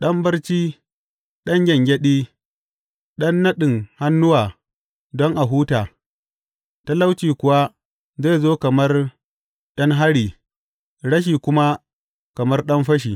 Ɗan barci, ɗan gyangyaɗi, ɗan naɗin hannuwa don a huta, talauci kuwa zai zo kamar ’yan hari rashi kuma kamar ɗan fashi.